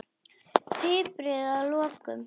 Piprið að lokum.